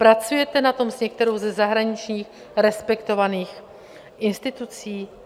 Pracujete na tom s některou ze zahraničních respektovaných institucí?